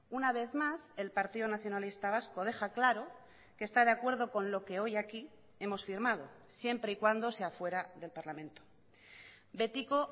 una vez más el partido nacionalista vasco deja claro que está de acuerdo con lo que hoy aquí hemos firmado siempre y cuando sea fuera del parlamento betiko